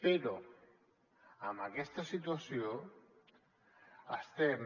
però amb aquesta situació estem